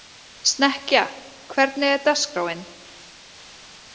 Snekkja, hvernig er dagskráin?